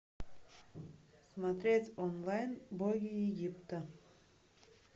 смотреть онлайн боги египта